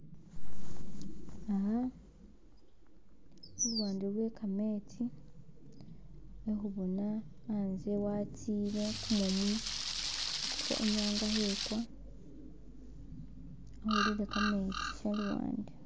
Aaaah khuluwande lwe kametsi , khekhubona anze watsile kumumu kwe inyanga khekwa yakholele kametsi shaluwande.